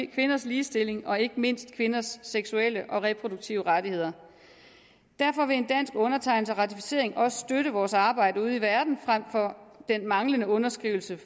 kvinders ligestilling og ikke mindst kvinders seksuelle og reproduktive rettigheder derfor vil en dansk undertegnelse af ratificeringen også støtte vores arbejde ude i verden frem for den manglende underskrivelse